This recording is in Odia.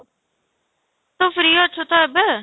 ତୁ free ଅଛୁ ତୋ ଏବେ?